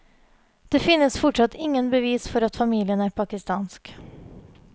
Det finnes fortsatt ingen bevis for at familien er pakistansk.